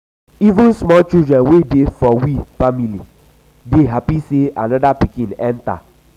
even small children wey dey for we family dey hapi sey anoda pikin enta.